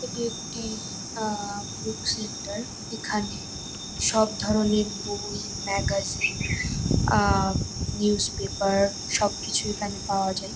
এটি একটি আহ বুক সেন্টার । এখানে সব ধরনের বই ম্যাগাজিন আহ নিউজ পেপার সবকিছু এখানে পাওয়া যায়।